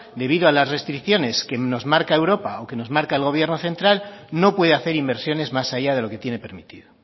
debido a las restricciones que nos marca europa o que nos marca el gobierno central no puede hacer inversiones más allá de lo que tiene permitido